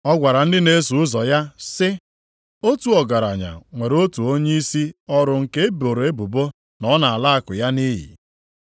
Ọ gwara ndị na-eso ụzọ ya sị, “Otu ọgaranya nwere otu onyeisi ọrụ nke e boro ebubo na ọ na-ala akụ ya nʼiyi.